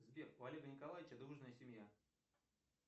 сбер у олега николаевича дружная семья